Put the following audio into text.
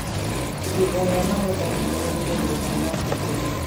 Ihinda rĩa magetha rĩkoretwo rĩega mwaka ũyũ.